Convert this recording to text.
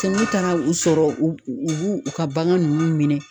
ne taara u sɔrɔ u u b'u u ka bagan ninnu minɛ